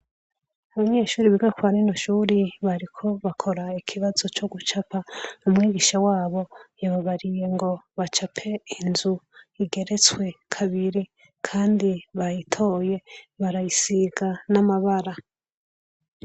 Abanyeshuri biga kwa rino shuri, bariko bakora ikibazo co gucapa, umwigisha wabo, yababariye ngo bacape inzu, igeretswe kabiri, kandi bayitoye barayisiga n'amabara.